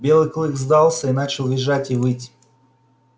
белый клык сдался и начал визжать и выть